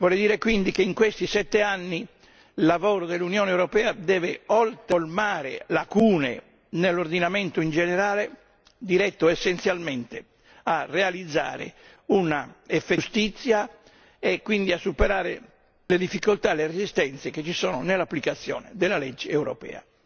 Vorrei dire che in questi sette anni il lavoro dell'Unione europea deve colmare le lacune nell'ordinamento in generale, diretto essenzialmente a realizzare una giustizia effettiva e quindi a superare le difficoltà e le resistenze che ci sono nell'applicazione della legge europea.